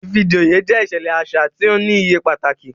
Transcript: Ìfijoyé jẹ iṣẹlẹ aṣa ti o ni iye pataki